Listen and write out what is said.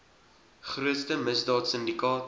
grootste misdaad sindikaat